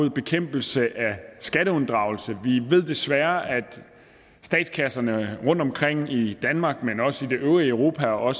i bekæmpelsen af skatteunddragelse vi ved desværre at statskasserne i danmark det øvrige europa og